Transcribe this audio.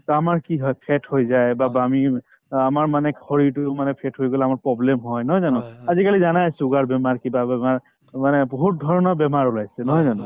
to আমাৰ কি হয় fat হৈ যায় বা বা আমি অ আমাৰ মানে শৰীৰটোৰ মানে fat হৈ গলে আমাৰ problem হয় নহয় জানো আজিকালি জানায়ে sugar বেমাৰ কিবা বেমাৰ মানে বহুতধৰণৰ বেমাৰ ওলাইছে নহয় জানো